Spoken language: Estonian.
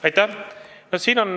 Aitäh!